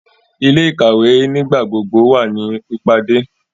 Ile-ikawe nigbagbogbo wa ni pipade